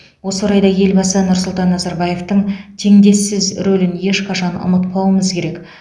осы орайда елбасы нұрсұлтан назарбаевтың теңдессіз рөлін ешқашан ұмытпауымыз керек